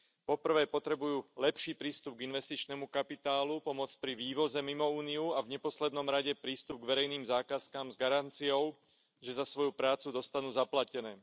Po prvé potrebujú lepší prístup k investičnému kapitálu, pomoc pri vývoze mimo Úniu a v neposlednom rade prístup k verejným zákazkám s garanciou, že za svoju prácu dostanú zaplatené.